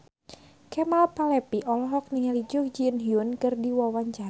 Kemal Palevi olohok ningali Jun Ji Hyun keur diwawancara